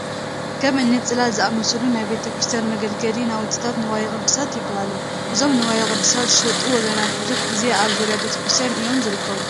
ከም እኒ ፅላል ዝኣምሰሉ ናይ ቤተ ክርስቲያን መገልገሊ ናውትታት ንዋየ ቅድሳት ይበሃል፡፡ እዞም ንዋየ ቅድሳት ዝሸጡ ወገናት ብዙሕ ግዜ ኣብ ዙርያ ቤተ ክርስቲያን እዮም ዝርከቡ፡፡